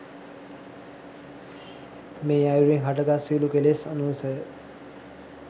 මේ අයුරින් හටගත් සියලු කෙලෙස් අනුසය